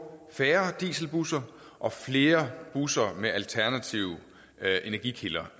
færre dieselbusser og flere busser med alternative energikilder